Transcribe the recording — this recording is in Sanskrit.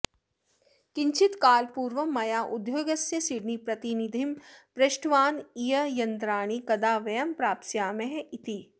किञ्चित् कालपूर्वं मया उद्योगस्य सिडनीप्रतिनिधिं पृष्टवान् ईर्ययन्त्राणि कदा वयं प्राप्स्यामः इति